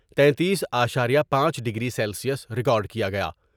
تینتیس اشاریہ پانچ ڈگری سیکس ریکارڈ کیا گیا ۔